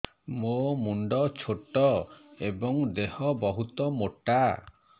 ମୋ ମୁଣ୍ଡ ଛୋଟ ଏଵଂ ଦେହ ବହୁତ ମୋଟା